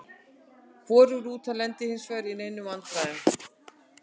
Hvorug rútan lenti hinsvegar í neinum vandræðum.